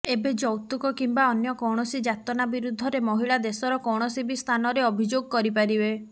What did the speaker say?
ଏବେ ଯୌତୁକ କିମ୍ବା ଅନ୍ୟ କୌଣସି ଯାତନା ବିରୁଦ୍ଧରେ ମହିଳା ଦେଶର କୌଣସି ବି ସ୍ଥାନରେ ଅଭିଯୋଗ କରିପାରିବେ